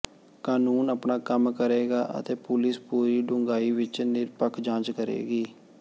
ਕਾਨੂੰਨ ਆਪਣਾ ਕੰਮ ਕਰੇਗਾ ਅਤੇ ਪੁਲਿਸ ਪੂਰੀ ਡੂੰਘਾਈ ਵਿੱਚ ਨਿਰਪੱਖ ਜਾਂਚ ਕਰੇਗੀ